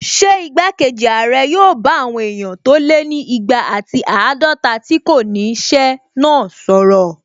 Ṣé igbákejì ààrẹ yóò bá àwọn èèyàn tó lé ní igba ati àádọta tí kò ní ṣẹ́ náà sọ̀rọ̀?